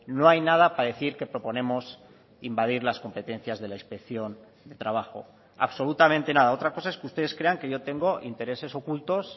no hay nada para decir que proponemos invadir las competencias de la inspección de trabajo absolutamente nada otra cosa es que ustedes crean que yo tengo intereses ocultos